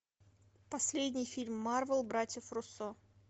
последний фильм марвел братьев руссо